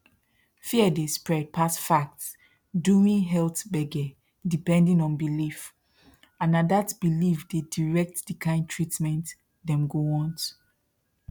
fear dey spread pass facts during health gbege depending on belief and na that belief dey direct the kind treatment dem go want